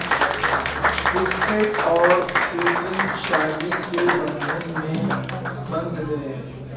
کرس Pratt اور Katherine شادی کے بندھن میں بندھ گئے